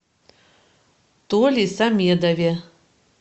толе самедове